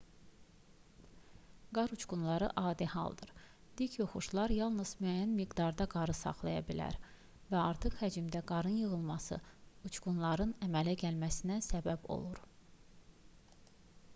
qar uçqunları adi haldır dik yoxuşlar yalnız müəyyən miqdarda qarı saxlaya bilər və artıq həcmdə qarın yığılması uçqunların əmələ gəlməsinə səbəb olur